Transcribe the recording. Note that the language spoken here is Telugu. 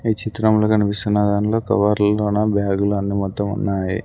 ఈ చిత్రంలో కనిపిస్తున్న దాంట్లో కవర్లలోనా బ్యాగులు అన్ని మొత్తం ఉన్నాయి.